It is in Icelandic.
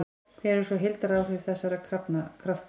Hver eru svo heildaráhrif þessara krafta?